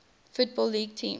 football league teams